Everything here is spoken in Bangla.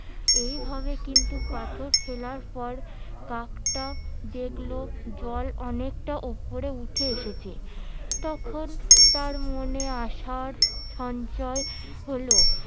এইভাবে কিন্তু ফেলার পর কাকটা দেখলো জল অনেকটা ওপরে উঠে এসেছে তখন তার মনে আসার সঞ্চয় হলো